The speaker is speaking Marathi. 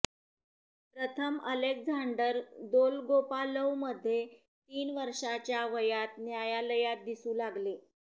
प्रथम अलेक्झांडर दोलगोपालोव्ह मध्ये तीन वर्षांच्या वयात न्यायालयात दिसू लागले